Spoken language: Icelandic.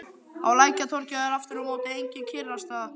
Á Lækjartorgi var aftur á móti engin kyrrstaða.